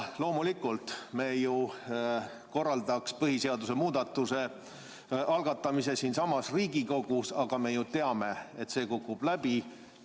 Loomulikult me korraldaks põhiseaduse muudatuse algatamise siinsamas Riigikogus, aga me ju teame, et see kukub läbi.